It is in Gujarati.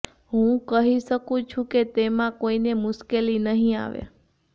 હું કહી શકું છું કે તેમાં કોઈને મુશ્કેલી નહીં આવે